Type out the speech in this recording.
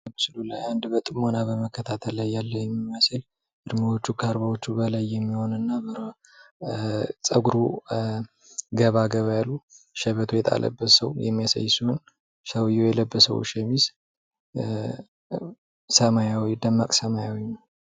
አንድ በጥሞና ላይ በመከታተል ያለ የሚመስል እድሜዎቹ ካርባዎቹ በላይ የሚሆኑ እና እና ፀጉሩ ኧ ገባ ገባ ያሉ ሸበቶ የጣለበት ሰው የሚያሳይ ሲሆን ሰውየው የልብ ሰው ሸሚዝ ኧ ሰማያዊ ደማቅ ሰማያዊ ነው ።